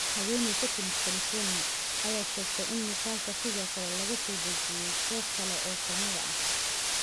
haweeneyda ka timid California, ayaa sheegtay in muuqaalka sidoo kale laga soo dejiyay goobo kale oo galmada ah.